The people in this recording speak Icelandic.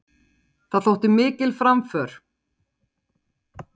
Það þótti mikil framför.